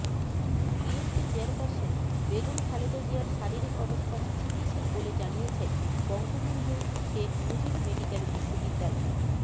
BNP chairperson Begum Khaleda জিয়ার শারীরিক অবস্থা স্থিতিশীল বলে জানিয়েছেন বঙ্গবন্ধু শেখ মুজিব মেডিকেল বিশ্ববিদ্যালয়